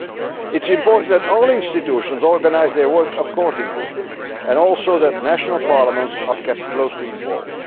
It is important that all institutions organise their work accordingly, and also that national parliaments are kept closely involved.